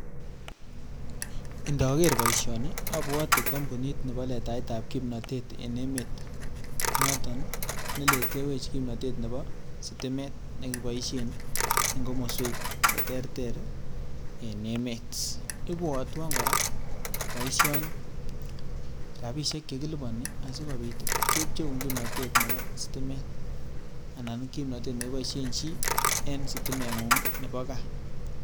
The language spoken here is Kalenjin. Indoker boishoni obwote kombunit neboo letaetab kipnotet en emet noton neletewech kipnotet neboo sitimet nekiboishen en komoswek cheterter en emeet, ibwotwon kora boishoni rabishek chekiliboni asikobiit kepcheun kipnotet neboo sitimet anan kipnotet neboishen chii en sitimeng'ung neboo kaa.